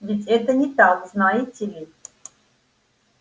ведь это не так знаете ли